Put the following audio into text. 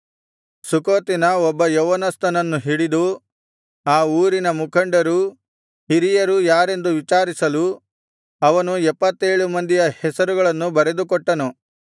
ಸುಖೋತಿನ ಒಬ್ಬ ಯೌವನಸ್ಥನನ್ನು ಹಿಡಿದು ಆ ಊರಿನ ಮುಖಂಡರೂ ಹಿರಿಯರೂ ಯಾರಾರೆಂದು ವಿಚಾರಿಸಲು ಅವನು ಎಪ್ಪತ್ತೇಳು ಮಂದಿಯ ಹೆಸರುಗಳನ್ನು ಬರೆದುಕೊಟ್ಟನು